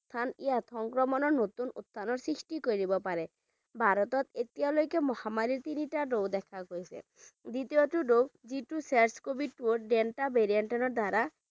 উত্থান ইয়াত সংক্ৰমণৰ নতুন উত্থানৰ সৃষ্টি কৰিব পাৰে ভাৰতত এতিয়ালৈকে মহামাৰীৰ তিনিটা ঢৌ দেখা গৈছে দ্বিতীয়টো ঢৌ যিটো SARS covid two delta variant ৰ দ্বাৰা